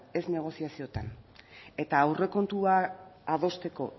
ez negoziaziotan eta aurrekontua adosteko